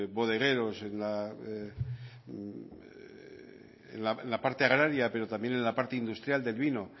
bodegueros en la parte agraria pero también en la parte industrial del vino